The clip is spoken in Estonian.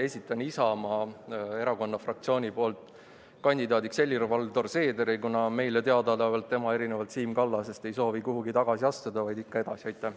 Esitan Isamaa Erakonna fraktsiooni nimel kandidaadiks Helir-Valdor Seederi, kuna meile teadaolevalt tema erinevalt Siim Kallasest ei soovi kuhugi tagasi astuda, vaid ikka edasi minna.